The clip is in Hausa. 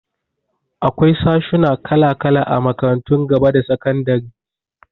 Akwai sashuna kala-kala a makarantun gaba da sakandari.